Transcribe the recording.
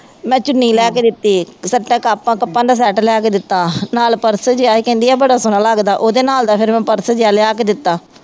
ਮੈਂ ਚੁੰਨੀ ਲੈ ਕੇ ਦਿੱਤੀ ਇੱਕ, ਸੱਤਾਂ ਕੱਪਾਂ ਕੱਪਾਂ ਦਾ set ਲੈ ਕੇ ਦਿੱਤਾ, ਨਾਲ purse ਜਿਹਾ ਇਹ ਕਹਿੰਦੀ ਹੈ ਬੜਾ ਸੋਹਣਾ ਲੱਗਦਾ ਉਹਦੇ ਨਾਲ ਦਾ ਫੇਰ ਮੈਂ purse ਜਿਹਾ ਲਿਆ ਕੇ ਦਿੱਤਾ।